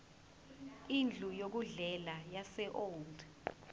indlu yokudlela yaseold